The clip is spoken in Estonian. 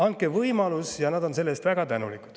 Andke võimalus ja nad on selle eest väga tänulikud.